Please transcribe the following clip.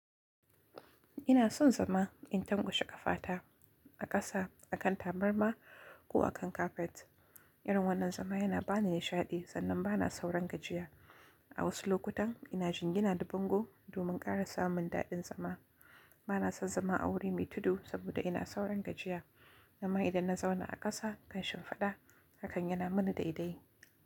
Ina son zama in tangoshi ƙafata a ƙasa, a kan tabarma ko a kan kafet. Irin wannan zama yana ba ni nishaɗi sannan ba na sauran gajiya. A wasu lokutan ina jingina da bango domin ƙara samun daɗin zama. Ba na son zama a wurin mai tudu saboda ina sauran gajiya, amma idan na zauna a ƙasa ƙanshin faɗa hakan yana mini daɗai.